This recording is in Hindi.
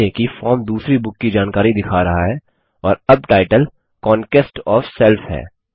ध्यान दें कि फॉर्म दूसरी बुक की जानकारी दिखा रहा है और अब टाइटल कॉन्क्वेस्ट ओएफ सेल्फ है